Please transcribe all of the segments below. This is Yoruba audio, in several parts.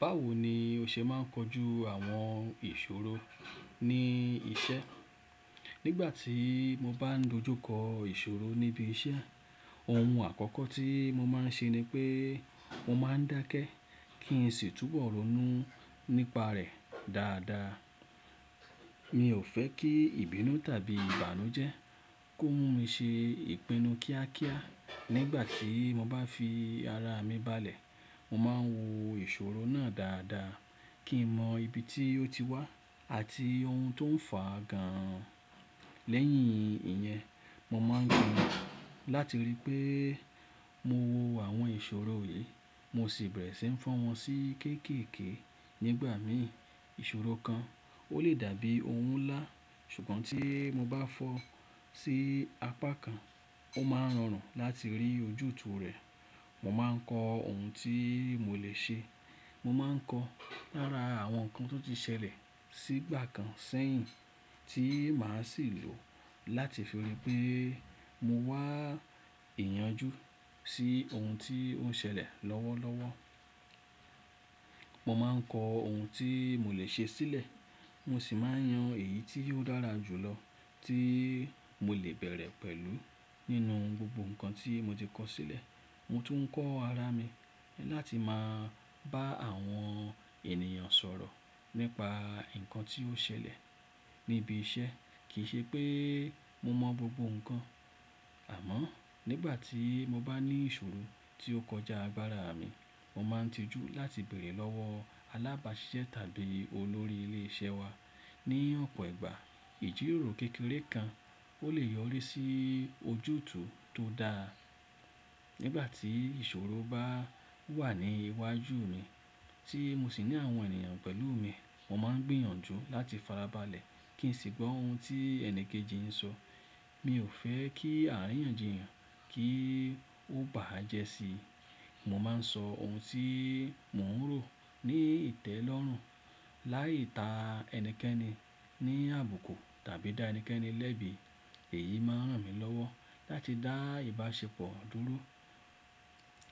Báwo ni o ṣe máà ń kojú àwọn ìṣòro ní iṣẹ́? Nígbà tí mo bá n dojú kọ ìṣòro níbi iṣẹ́, ohun àkọ́kọ́ tí mo máa ń ṣe ni pé mo máà ń dákẹ́ kí n sì túbọ̀ ronú nípa rẹ̀ dáadáa. Mi ò fẹ́ kí ìbínú tàbí ìbànújẹ́ kó mú mi ṣe ìpinnu kíákíá. Nígbà tí mo bá fi ara mi balẹ̀, mo máa ń wo ìṣòro náà dáadáa kí n mọ ibi tí ó ti wá àti ohun tó ń fà á gan. Lẹ́yìn ìyẹn, mo máa ń gbìyànjú láti ríi pé mo wo àwọn ìṣòro wọ̀nyí, mo sì bẹ̀rẹ̀ sí ń fọ́ wọn sí kéékèèké. Nígbà mi ìṣòro kan o le dàbí ohun ńlá, ṣùgbọ́n tí mo bá fọ́ sí apá kan, ó máa ń rọrùn láti rí ojútùú rẹ̀. Mo máa ń kọ ohun tí mo le ṣe. Mo máa ń kọ lára àwọn nǹkan tó ti ṣẹlẹ̀ sígbà kan sẹ́yìn tí màá sì lò láti fi ríi pé mo wá ìyànjú sí ohun tí ó ń ṣẹlẹ̀ lọ́wọ́lọ́wọ́. Mo máa ń kọ ohun tí mo le ṣe sílẹ̀, mo sì máa ń yan èyí tí ó dára jù lọ tí mo lè bẹ̀rẹ̀ pẹ̀lú. Nínú gbogbo nǹkan tí mo ti kọ sílẹ̀, mo tún ń kọ ara mi láti máa bá àwọn ènìyàn sọ̀rọ̀ nípa nǹkan tí ó ṣẹlẹ̀ níbi iṣẹ́. Kì í ṣe pé mo mọ gbogbo nǹkan, àmọ́ nígbà tí mo bá ní ìṣòro tí ó kọjá agbára mi, mo máa ń tijú láti bèrè lọ́wọ́ alábáṣiṣẹ́ tàbí olórí ilé iṣẹ́ wa. Ní ọ̀pọ̀ ìgbà, ìjíròrò kékeré kan o lè yọrí sí ojútùú tó dáa. Nígbà tí ìṣòro bá wà ní iwájú mi tí mo sì ní àwọn ènìyàn pẹ̀lú mi, mo máa ń gbìyànjú láti farabalẹ̀ kí n sì gbọ́ ohun tí ẹni kejì ń sọ. Mi ò fẹ́ kí àríyànjiyàn kí ó bá à jẹ́ sí i. Mo máa ń sọ ohun tí mò ń rò ní ìtẹ́lọ́rùn láì ta ẹnikẹ́ni ní àbùkù tàbí dá ẹnikẹ́ni lẹ́bi. Èyí máa ń ràn mí lọ́wọ́ láti dá ìbáṣepọ̀ dúró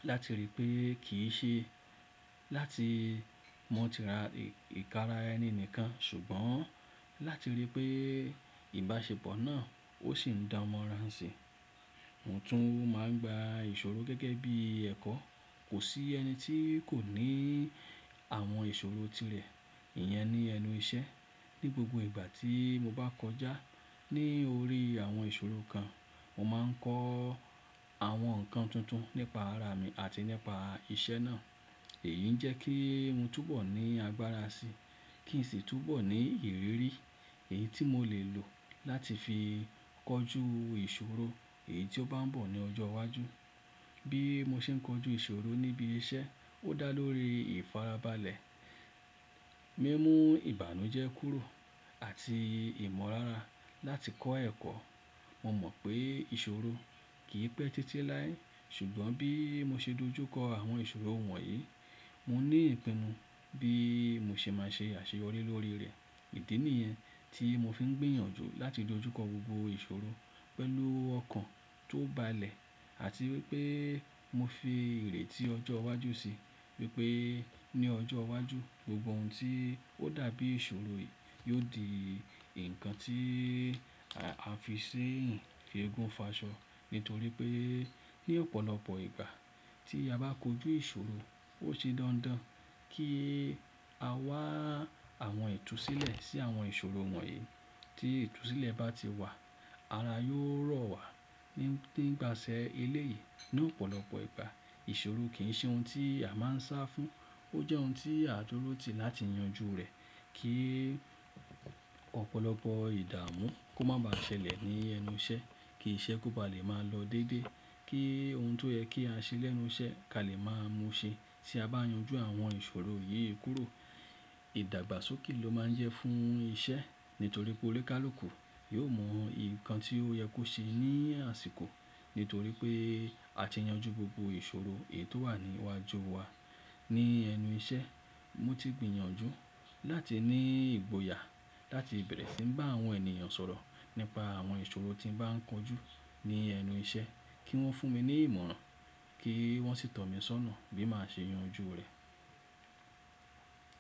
láti ríi pé kì í ṣe láti mo ti ra ìkàrà ẹni nìkan ṣùgbọ́n láti ríi pé ìbáṣepọ̀ náà ó sì ń dán mọran ṣi. Mo tún máa ń gba ìṣòro gẹ́gẹ́ bí ẹ̀kọ́. Kò sí ẹni tí kò ní àwọn ìṣòro tirẹ̀. Ìyẹn ni ẹnu iṣẹ́. Ní gbogbo ìgbà tí mo bá kọjá ní orí àwọn ìṣòro kan, mo máa ń kọ́ àwọn nǹkan tuntun nípa ara mi àti nípa iṣẹ́ náà. Èyí ń jẹ́ kí n túbọ̀ ní agbára sí i kí n sì túbọ̀ ní ìrírí. Èyí tí mo lè lò láti fi kojú ìṣòro èyí tí ó bá ń bọ̀ ní ọjọ́ iwájú. Bí mo ṣe ń kojú ìṣòro níbi iṣẹ́, ó dá lórí ìfarabalẹ̀, mímú ìbànújẹ́ kúrò àti ìmọ̀rárà láti kọ́ ẹ̀kọ́. Mo mọ̀ pé ìṣòro kì í pẹ́ títí láé ṣùgbọ́n bí mo ṣe dojú kọ àwọn ìṣòro wọ̀nyí, mo ní ìpinnu bí mo ṣe máa ṣe àṣeyọrí lórí rẹ̀. Idí ni yẹn tí mo fi ń gbìyànjú láti dojú kọ gbogbo ìṣòro pẹ̀lú ọkàn tó balẹ̀ àti wípé mo fi ìrètí ọjọ́ iwájú sí i wípé ní ọjọ́ iwájú gbogbo ohun tí ó dàbí ìṣòro yiò di nǹkan tí á fi ṣeyiń ti ègún fi'ṣọ nítorí pé ní ọ̀pọ̀lọpọ̀ ìgbà tí a bá kojú ìṣòro, ó ṣe dandan kí a wá àwọn itù sílẹ̀ sí àwọn ìṣòro wọ̀nyí. Tí itù sílẹ̀ bá ti wà, ara yóò rọ̀ wá. Ní pà ṣe eléyìí, ní ọ̀pọ̀lọpọ̀ ìgbà ìṣòro kì í ṣe ohun tí a máa ń sá fún. Ó jẹ́ ohun tí a dúró tì láti yanjú rẹ̀ kí ọ̀pọ̀lọpọ̀ ìdààmú kó má ba ṣẹlẹ̀ ní ẹnu iṣẹ́, kí iṣẹ́ kó ba lè máa lọ dédé, kí ohun tó yẹ kí á ṣe lẹ́nu iṣẹ́ ká lè máa mú ṣe. Tí a bá yanjú àwọn ìṣòro yí kúrò, ìdàgbàsókè ló máa ń jẹ́ fún iṣẹ́ nítorí pé oníkálúkù yóò mọ nǹkan tí ó yẹ kó ṣe ní àsìkò nítorí pé a ti yanjú gbogbo ìṣòro èyí tó wà ní iwájú wa. Ní ẹnu iṣẹ́, mo ti gbìyànjú láti ní ìgboyà láti bẹ̀rẹ̀ sí ń bá àwọn ènìyàn sọ̀rọ̀ nípa àwọn ìṣòro tí ń bá ń kojú ní ẹnu iṣẹ́ kí wọ́n fún mi ní ìmọ̀ràn kí wọ́n sì tọ̀ mí sọ́nà bí màá ṣe yanjú rẹ̀.